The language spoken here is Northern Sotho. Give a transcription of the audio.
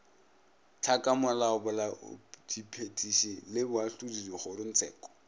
tlhakamolao bolaodiphethiši le boahlodi dikgorotsheko